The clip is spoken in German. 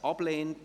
Ja / Oui Nein /